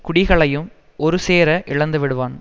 குடிகளையும் ஒரு சேர இழந்து விடுவான்